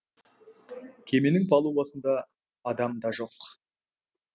кеменің палубасында адам да жоқ